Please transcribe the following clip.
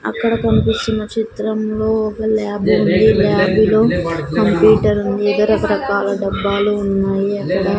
అక్కడ కనిపిస్తున్న చిత్రంలో ఒక ల్యాబ్ ఉంది ల్యాబ్ లో కంప్యూటర్ ఉంది రకరకాల డబ్బాలు ఉన్నాయి అక్కడ.